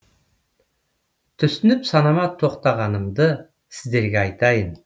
түсініп санама тоқтағанымды сіздерге айтайын